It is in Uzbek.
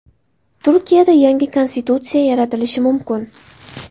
Turkiyada yangi konstitutsiya yaratilishi mumkin.